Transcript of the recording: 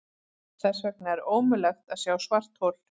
Þess vegna er ómögulegt að sjá svarthol.